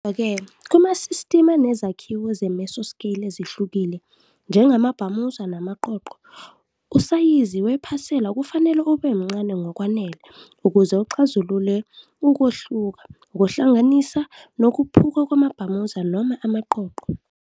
Kodwa-ke, kumasistimu anezakhiwo ze-mesoscale ezihlukile, njengamabhamuza namaqoqo, usayizi wephasela kufanele ube mncane ngokwanele ukuze uxazulule ukuwohloka, ukuhlanganisa, nokuphuka kwamabhamuza noma amaqoqo.